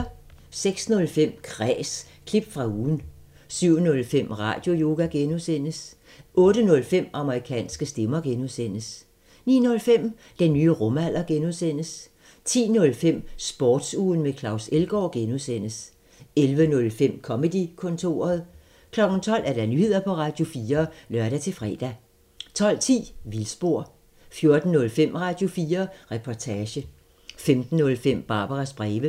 06:05: Kræs – klip fra ugen 07:05: Radioyoga (G) 08:05: Amerikanske stemmer (G) 09:05: Den nye rumalder (G) 10:05: Sportsugen med Claus Elgaard (G) 11:05: Comedy-kontoret 12:00: Nyheder på Radio4 (lør-fre) 12:10: Vildspor 14:05: Radio4 Reportage 15:05: Barbaras breve